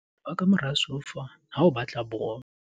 sheba ka mora soufa ha o batla bolo